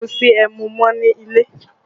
Kò sí ẹmu mọ́ nílẹ̀